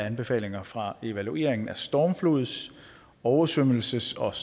anbefalinger fra evalueringen af stormflods oversvømmelses og